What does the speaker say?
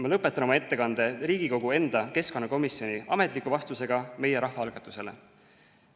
Ma lõpetan oma ettekande Riigikogu enda keskkonnakomisjoni ametliku vastusega meie rahvaalgatusele.